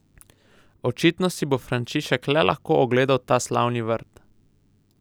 Očitno si bo Frančišek le lahko ogledal ta slavni vrt.